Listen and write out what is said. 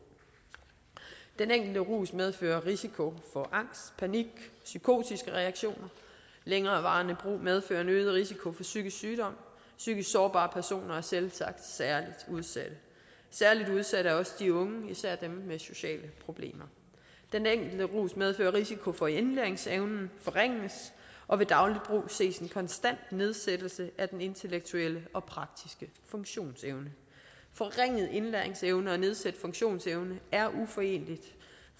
den enkelte rus medfører risiko for angst panik psykotiske reaktioner og længerevarende brug medfører en øget risiko for psykisk sygdom psykisk sårbare personer er selvsagt særlig udsatte særlig udsatte er også de unge især dem med sociale problemer den enkelte rus medfører risiko for at indlæringsevnen forringes og ved daglig brug ses en konstant nedsættelse af den intellektuelle og praktiske funktionsevne forringet indlæringsevne og nedsat funktionsevne er